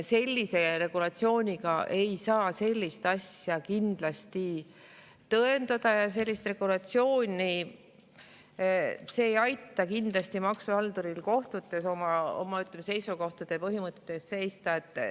Selle regulatsiooniga ei saa sellist asja kindlasti tõendada ja selline regulatsioon ei aita kindlasti maksuhalduril kohtutes oma seisukohtade ja põhimõtete eest seista.